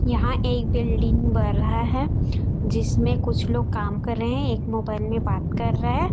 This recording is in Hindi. यहां एक बिल्डिंग बर रहा है जिसमें कुछ लोग काम कर रहे हैं एक मोबाइल में बात कर रहा है।